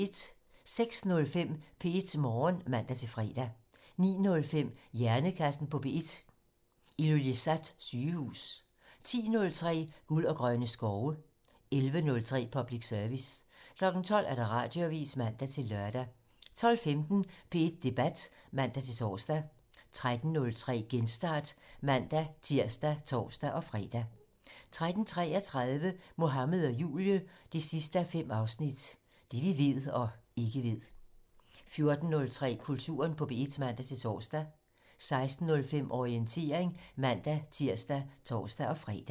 06:05: P1 Morgen (man-fre) 09:05: Hjernekassen på P1: Ilulissat Sygehus 10:03: Guld og grønne skove 11:03: Public Service 12:00: Radioavisen (man-lør) 12:15: P1 Debat (man-tor) 13:03: Genstart (man-tir og tor-fre) 13:33: Mohammed og Julie 5:5 - Det vi ved og ikke ved 14:03: Kulturen på P1 (man-tor) 16:05: Orientering (man-tir og tor-fre)